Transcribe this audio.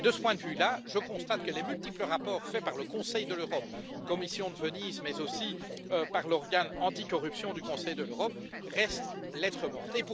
Et de ce point de vue là, je constate que les multiples rapports faits par le Conseil de l'Europe, par la commission de Venise mais aussi par l'organe anticorruption du Conseil de l'Europe, restent lettre morte.